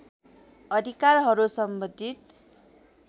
अधिकारहरू सम्बन्धित